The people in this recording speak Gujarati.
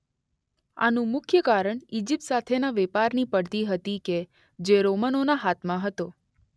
આનું મુખ્ય કારણ ઈજીપ્ત સાથેના વેપારની પડતી હતી કે જે રોમનોના હાથમાં હતો.